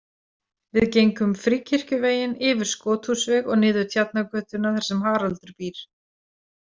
Við gengum Fríkirkjuveginn, yfir Skothúsveg og niður Tjarnargötuna þar sem Haraldur býr.